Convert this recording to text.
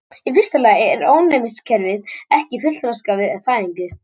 Í fyrsta lagi er ónæmiskerfið ekki fullþroskað við fæðingu.